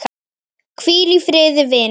Hvíl í friði vinur.